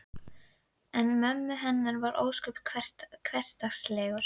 En mömmu heimur var ósköp hversdagslegur.